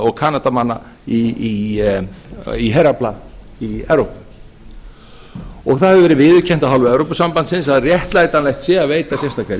og kanadamanna í herafla í evrópu það hefur verið viðurkennt af hálfu evrópusambandsins að réttlætanlegt sé að veita sérstaka